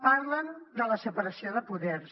parlen de la separació de poders